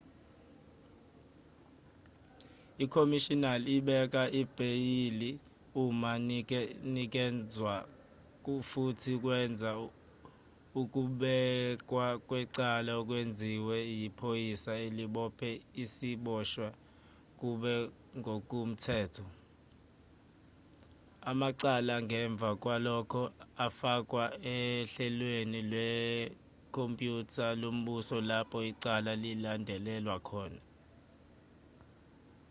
ukhomishinali ubeka ibheyili uma inikezwa futhi wenza ukubekwa kwecala okwenziwe yiphoyisa elibophe isiboshwa kube ngokomthetho amacala ngemva kwalokho afakwa ohlelweni lwekhompyutha lombuso lapho icala lilandelelwa khona